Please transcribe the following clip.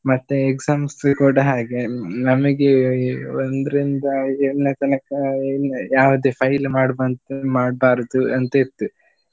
ಮತ್ತೆ exams ಕೂಡ ಹಾಗೆ ನಮಗೆ ಒಂದ್ರಿಂದ ಐದು ಏಳನೇ ತನಕ ಇನ್ ಯಾವುದೇ fail ಮಾಡುವಂತ ಮಾಡ್ಬಾರ್ದು ಅಂತ ಇತ್ತು.